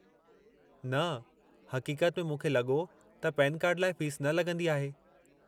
न, हक़ीक़त में मूंखे लॻो त पेन कार्ड लाइ फ़ीस न लॻंदी आहे।